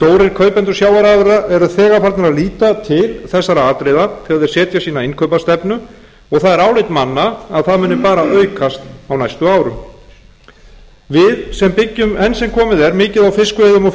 kaupendur sjávarafurða eru þegar farnir að líta til þessara atriða þegar þeir setja sína innkaupastefnu og það er álit manna að það muni bara aukast á næstu árum við sem byggjum enn sem komið er mikið á fiskveiðum og